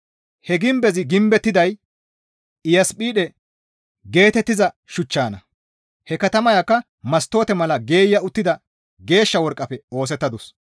He gimbezi gimbettiday Iyasphide geetettiza shuchchanna; he katamayakka mastoote mala geeya uttida geeshsha worqqafe oosettadus.